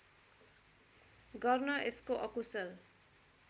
गर्न यसको अकुशल